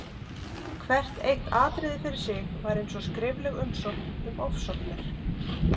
Hvert eitt atriði fyrir sig var eins og skrifleg umsókn um ofsóknir.